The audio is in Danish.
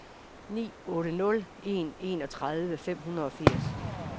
ni otte nul en enogtredive fem hundrede og firs